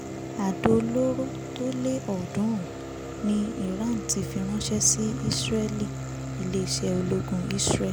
adó olóró tó lé ọ̀ọ́dúnrún ni iran ti fi ránṣẹ́ sí israel iléeṣẹ́ ológun israel